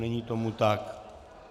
Není tomu tak.